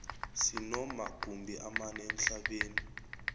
sinoma gumbi amane emhlabeni